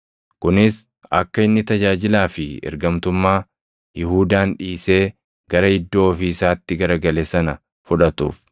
kunis akka inni tajaajilaa fi ergamtummaa Yihuudaan dhiisee gara iddoo ofii isaatti gara gale sana fudhatuuf.”